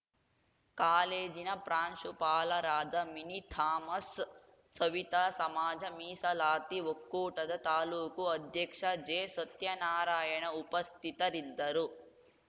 ಕಾಲೇಜಿನ ಪ್ರಾಂಶುಪಾಲರಾದ ಮಿನಿ ಥಾಮಸ್‌ ಸವಿತಾ ಸಮಾಜ ಮೀಸಲಾತಿ ಒಕ್ಕೂಟದ ತಾಲೂಕು ಅಧ್ಯಕ್ಷ ಜೆಸತ್ಯನಾರಾಯಣ ಉಪಸ್ಥಿತರಿದ್ದರು